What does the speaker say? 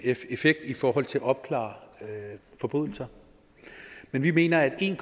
effekt i forhold til at opklare forbrydelser men vi mener at en